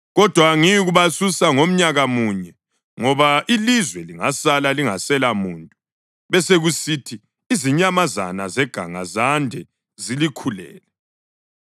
Kodwa angiyikubasusa ngomnyaka munye, ngoba ilizwe lingasala lingasela muntu besekusithi izinyamazana zeganga zande zilikhulele.